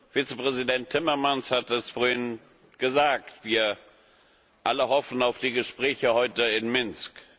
Vizepräsident Timmermans hat es vorhin gesagt Wir alle hoffen auf die Gespräche heute in Minsk.